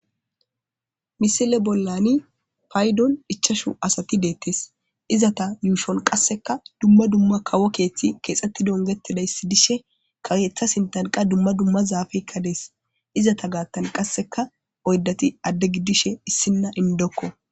Misile bollani paydon dichashu asati deettes izata yuushon qasseka dumma dumma kawo keeththi keexxetti dongetidayssidishe ka weeththa sintanqa dumma dumma zaafekka dees izata gaattan qasseka oydati adde giddishe issinna indokko